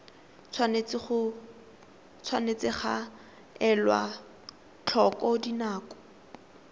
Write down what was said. tshwanetse ga elwa tlhoko dinako